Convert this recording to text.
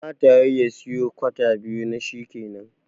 Kamata yayi ya siyo kwata biyu na shikenan